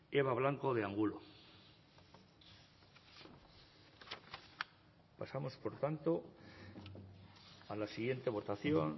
eba blanco de angulo pasamos por tanto a la siguiente votación